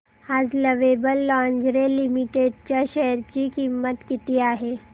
आज Lovable Lingerie Limited च्या share ची किंमत किती आहे